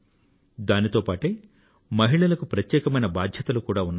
దానితో పాటే మహిళలకు ప్రత్యేకమైన బాధ్యతలు కూడా ఉన్నాయి